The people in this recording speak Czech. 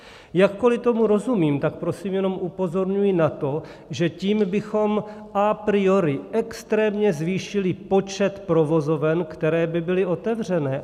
Jakkoli tomu rozumím, tak prosím jenom upozorňuji na to, že tím bychom a priori extrémně zvýšili počet provozoven, které by byly otevřené.